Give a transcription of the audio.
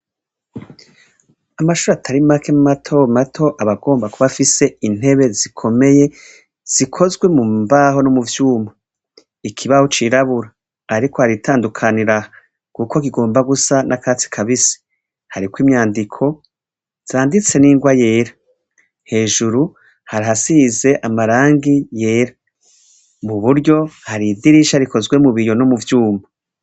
Amashure atari make matomato aba agomba kuba afise intebe zikomeye zikozwe mu mbaho no mu vyuma. Ikibaho cirabura. Ariko hari itandukaniro aha, kuko kigomba gusa n'ikatsi kibisi. Hariko imyandiko zanditse n'ingwa yera. Hejuru hari ahasize amarangi yera. Mu buryo, hari idirisha rikozwe mu biyi no mu vyuma.